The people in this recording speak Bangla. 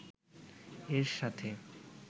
এর সাথে